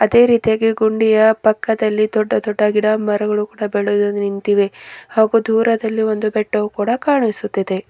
ಅದೇ ರೀತಿಯಾಗಿ ಗುಂಡಿಯ ಪಕ್ಕದಲ್ಲಿ ದೊಡ್ಡ ದೊಡ್ಡ ಗಿಡ ಮರಗಳು ಕೂಡ ಬೆಳೆದು ನಿಂತಿವೆ ಹಾಗೂ ದೂರದಲ್ಲಿ ಒಂದು ಬೆಟ್ಟವು ಕೂಡ ಕಾಣಿಸುತ್ತಿದೆ.